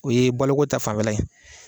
O ye boloko ta fanfɛla ye.